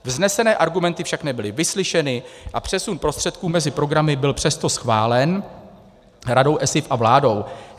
Vznesené argumenty však nebyly vyslyšeny a přesun prostředků mezi programy byl přesto schválen Radou ESIF a vládou.